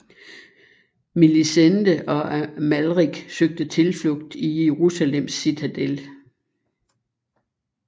Melisende og Amalrik søgte tilflugt i Jerusalems citadel